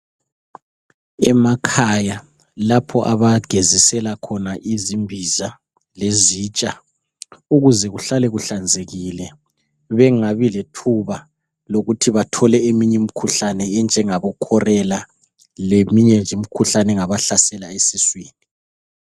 Emakhaya lapho abagezisela khona izimbiza lezitsha ukuze kuhlale kuhlanzekile bengabi lethuba lokuthi bathole eminye imikhuhlane enjengabo chorela leminye nje imikhuhlane engabahlasela esiswini.